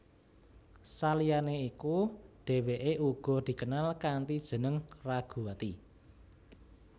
Saliyane iku dheweke uga dikenal kanthi jeneng Raguwati